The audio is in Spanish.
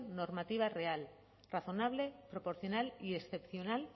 normativa real razonable proporcional y excepcional